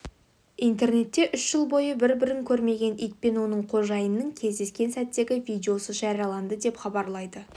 интернетте үш жыл бойы бір-бірін көрмеген ит пен оның қожайынының кездескен сәттегі видеосы жарияланды деп хабарлайды